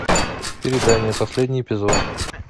предания последний эпизод